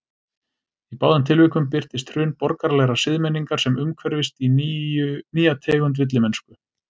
Í báðum tilvikum birtist hrun borgaralegrar siðmenningar sem umhverfist í nýja tegund villimennsku.